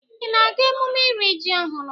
Ị na-aga emume iri ji ọhụrụ?